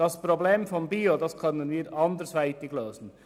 Das Problem betreffend «bio» können wir anderweitig lösen.